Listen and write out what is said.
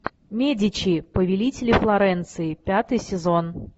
медичи повелители флоренции пятый сезон